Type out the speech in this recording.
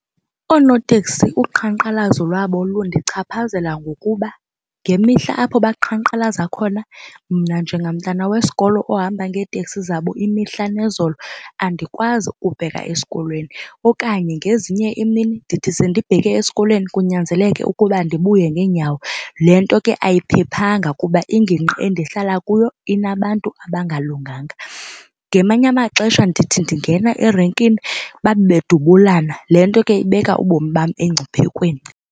Oonoteksi uqhankqalazo lwabo lundichaphazela ngokuba ngemihla apho baqhankqalaza khona mna njengamntana wesikolo ohamba ngeeteksi zabo imihla nezolo andikwazi ukubheka esikolweni okanye ngezinye iimini ndithi sendibheke esikolweni kunyanzeleke ukuba ndibuye ngeenyawo. Le nto ke ayiphephanga kuba ingingqi endihlala kuyo inabantu abangalunganga. Ngamanye amaxesha ndithi ndingena erenkini babe bedubulana, le nto ke ibeka ubomi bam engcuphekweni.